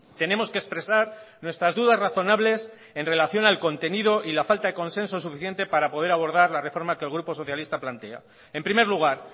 tenemos que expresar nuestras dudas razonables en relación al contenido y la falta de consenso suficiente para poder abordar la reforma que el grupo socialista plantea en primer lugar